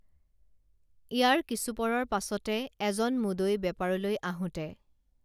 ইয়াৰ কিছুপৰৰ পাছতে এজন মুদৈ বেপাৰলৈ আঁহোতে